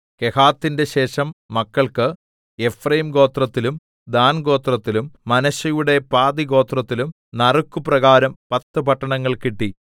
കെഹാത്തിന്റെ ശേഷം മക്കൾക്ക് എഫ്രയീംഗോത്രത്തിലും ദാൻഗോത്രത്തിലും മനശ്ശെയുടെ പാതിഗോത്രത്തിലും നറുക്കുപ്രകാരം പത്ത് പട്ടണങ്ങൾ കിട്ടി